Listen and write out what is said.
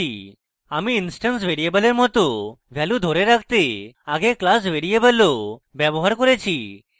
আমি instance ভ্যারিয়েবলের মত ভ্যালু ধরে রাখতে আগে class ভ্যারিয়েবলও ব্যবহার করছি